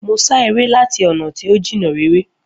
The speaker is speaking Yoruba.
Mo ṣá eré láti ọ̀nà tí ó jìnnà réré